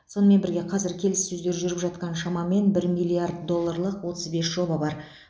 сонымен бірге қазір келіссөздер жүріп жатқан шамамен бір миллиард долларлық отыз бес жоба бар